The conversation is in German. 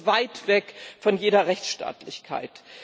das ist weit weg von jeder Rechtsstaatlichkeit.